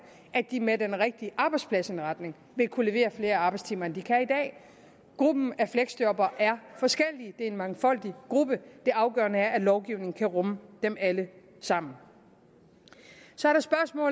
at de med den rigtige arbejdspladsindretning vil kunne levere flere arbejdstimer end de kan i dag fleksjobbere er forskellige det er en mangfoldig gruppe det afgørende er at lovgivningen kan rumme dem alle sammen så